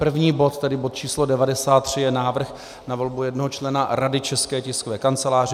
První bod, tedy bod č. 93 je návrh na volbu jednoho člena Rady České tiskové kanceláře.